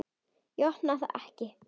Ég opna það ekki.